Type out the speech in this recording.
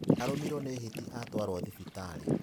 Aratũmirwo nĩ hiti atwarwo thibitarĩ.